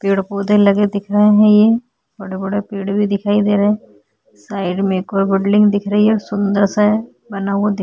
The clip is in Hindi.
पेड़-पौधे लगे दिख रहें हैं ये बड़े-बड़े पेड़ भी दिखाई दे रहें हैं साइड में एक और बिल्डिंग दिख रही है सुन्दर सा है बना हुआ दी --